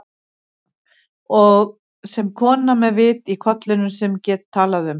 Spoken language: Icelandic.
Og sem kona með vit í kollinum, sem get talað um